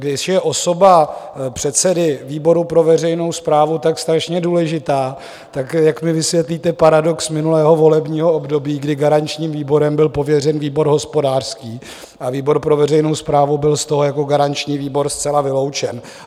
Když je osoba předsedy výboru pro veřejnou správu tak strašně důležitá, tak jak mi vysvětlíte paradox minulého volebního období, kdy garančním výborem byl pověřen výbor hospodářský a výbor pro veřejnou správu byl z toho jako garanční výbor zcela vyloučen.